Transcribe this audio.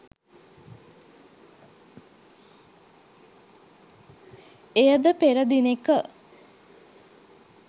එයද පෙර දිනෙක